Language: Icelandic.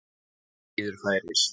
Bíður færis.